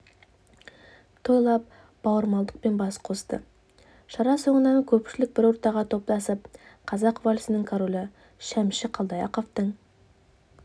тойлап бауырмалдықпен бас қосты шара соңынан көпшілік бір ортаға топтасып қазақ вальсінің королі шәмші қалдаяқовтың